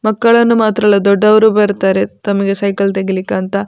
ಮಕ್ಕಳನ್ನು ಮಾತ್ರ ಅಲ್ಲ ದೊಡ್ಡವರು ಬರ್ತಾರೆ ತಮಗೆ ಸೈಕಲ್‌ ತೆಗಿಲಿಕ್ಕಂತ.